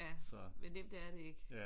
Men nemt er det ikke